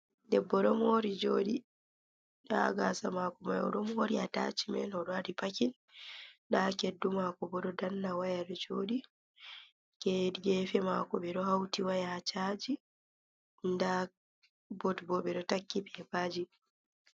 Debbo ɗo mori joɗi, nda gasa mako mai oɗo mori waɗi atachimen oɗo wɗi pakin, nda keddu mako bo ɗo danna waya joɗi, ge gefe mako beɗo hauti waya ha chaji, nda bot bo ɓeɗo takki bebaji.